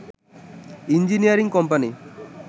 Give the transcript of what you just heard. engineering company